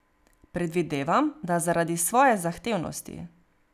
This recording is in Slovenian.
Predvidevam, da zaradi svoje zahtevnosti.